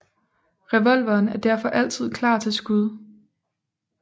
Revolveren er derfor altid klar til skud